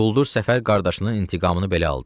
Quldur Səfər qardaşının intiqamını belə aldı.